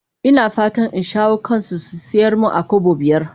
Ina fatan in shawo kansu su sayar mun a Kobo biyar.